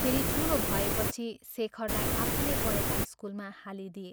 फेरि ठूलो भएपछि शेखरलाई आफूले पढ़ेका स्कूलमा हालिदिए।